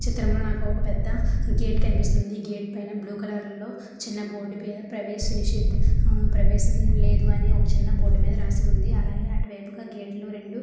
చిత్రంలో నాకు ఒక పెద్ద గేటు కనిపిస్తుంది. గేట్ పైన బ్లూ కలర్ లో చిన్న బోర్డు మీద ప్రవేశ నిషిద్ధ ప్రవేశం లేదు అని ఒక చిన్న బోర్డు మీద రాసి ఉంది. అలాగే అటువైపుగా గేట్ లో రెండు --